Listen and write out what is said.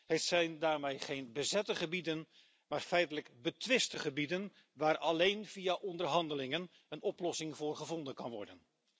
Het zijn daarmee geen bezette gebieden, maar feitelijk betwiste gebieden, waar alleen via onderhandelingen een oplossing voor gevonden kan worden.